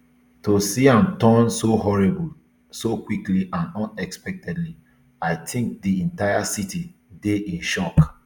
to see am turn so horrible so quickly and unexpectedly i tink di entire city dey in shock